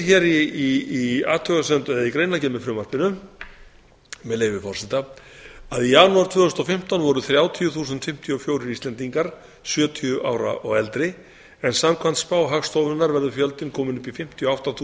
hér segir í greinargerð með frumvarpinu með leyfi forseta í janúar tvö þúsund og fimmtán voru þrjátíu þúsund fimmtíu og fjórir íslendingar sjötíu ára og eldri en samkvæmt spá hagstofunnar verður fjöldinn kominn upp í fimmtíu og átta